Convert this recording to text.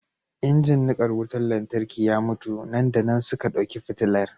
injin nika wutar lantarki ya mutu nan da nan suka dauki fitilar